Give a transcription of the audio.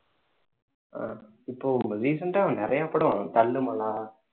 ஆஹ் இப்போ recent ஆ நிறைய படம் இந்த தள்ளுமலா